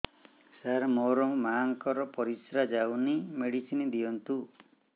ସାର ମୋର ମାଆଙ୍କର ପରିସ୍ରା ଯାଉନି ମେଡିସିନ ଦିଅନ୍ତୁ